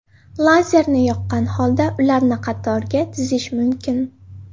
Lazerni yoqqan holda ularni qatorga tizish mumkin.